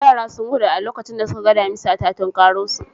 Yara sun gudu a lokacin da suka ga damisa ta tukaro su.